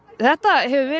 þetta hefur verið